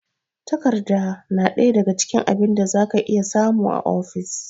Takarda na daga cikin abin da za ka iya samu a ofis.